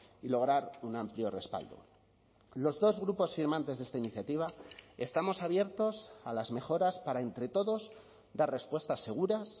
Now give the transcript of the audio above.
y lograr un amplio respaldo los dos grupos firmantes de esta iniciativa estamos abiertos a las mejoras para entre todos dar respuestas seguras